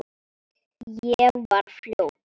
Ég var fljót.